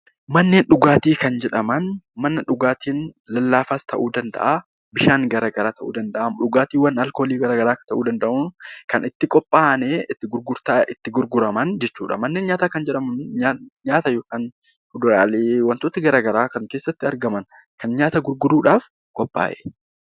Manneen dhugaatii kan jedhaman dhugaatii lallaafaa ta'uu danda'a. Bishaan garaagaraa ta'uu danda'a dhugaatiiwwan alkoolii garaagaraa ta'uu danda'a kan itti qophaa'anii gurguraman jechuudha. Manni nyaataa immoo kan nyaanni keessa jirudha.